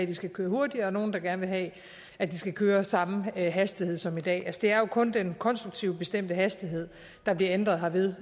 de skal køre hurtigere og nogle der gerne vil have at de skal køre med samme hastighed som i dag det er jo kun den konstruktivt bestemte hastighed der bliver ændret herved